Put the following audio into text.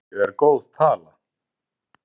Tíu er góð tala.